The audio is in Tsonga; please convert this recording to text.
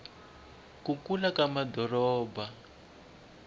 ku kula ka madoropo